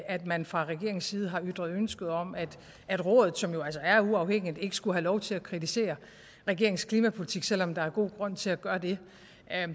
at man fra regeringens side har ytret ønske om at at rådet som jo altså er uafhængigt ikke skulle have lov til at kritisere regeringens klimapolitik selv om der er god grund til at gøre det